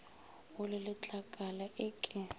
o le letlakala e ke